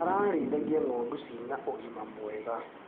Ararĩithagia ngondu cina ũgima mwega.